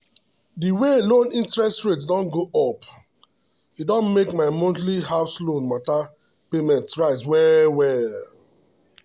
the way loan interest rate don go up e don make my monthly house loan matter payment rise well well.